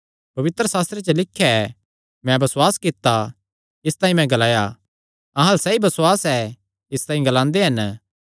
पवित्रशास्त्रे च लिख्या ऐ मैं बसुआस कित्ता इसतांई मैं ग्लाया अहां अल्ल सैई बसुआस ऐ इसतांई ग्लांदे हन